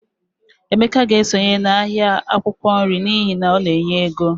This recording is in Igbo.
Emeka ga-esonye n'ahịa akwụkwọ nri n'ihi na ọ na-enye ego